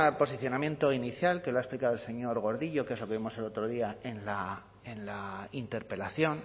posicionamiento inicial que lo ha explicado el señor gordillo que es lo que vimos el otro día en la interpelación